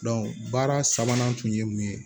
baara sabanan tun ye mun ye